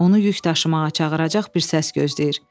Onu yük daşımağa çağıracaq bir səs gözləyir.